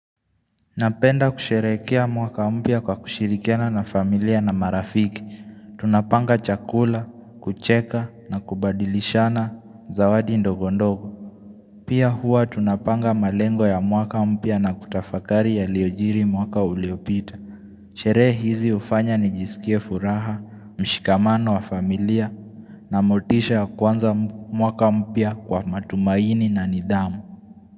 Napenda kusherehekea mwaka mpya kwa kushirikiana na familia na marafiki, tunapanga chakula, kucheka, na kubadilishana zawadi ndogondogo Pia huwa tunapanga malengo ya mwaka mpya na kutafakari yaliyojiri mwaka uliopita Sherehe hizi hufanya nijisikie furaha, mshikamano wa familia, na motisha ya kuanza mwaka mpya kwa matumaini na nidhamu.